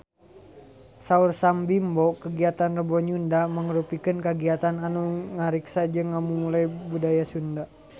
Saur Sam Bimbo kagiatan Rebo Nyunda mangrupikeun kagiatan anu ngariksa jeung ngamumule budaya Sunda